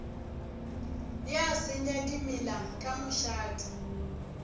ya senya dimela ka mošate